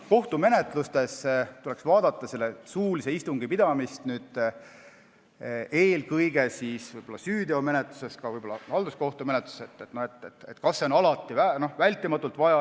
Kohtumenetluses tuleks üle vaadata suulise istungi pidamine, eelkõige süüteomenetluses, ka võib-olla halduskohtumenetluses, selgitada, kas see on alati vältimatult vajalik.